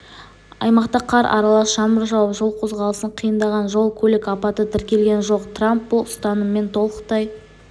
аймақта қар аралас жаңбыр жауып жол қозғалысын қиындаған жол-көлік апаты тіркелген жоқ трамп бұл ұстаныммен толықтай